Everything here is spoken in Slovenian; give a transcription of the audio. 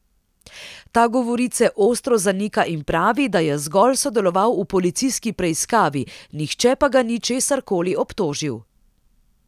Ta govorice ostro zanika in pravi, da je zgolj sodeloval v policijski preiskavi, nihče pa ga ni česar koli obtožil.